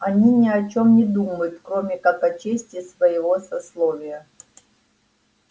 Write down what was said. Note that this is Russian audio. они ни о чем не думают кроме как о чести своего сословия